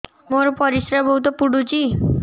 ମୋର ପରିସ୍ରା ବହୁତ ପୁଡୁଚି